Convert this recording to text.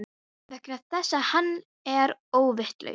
Vegna þess að hann er óvitlaus.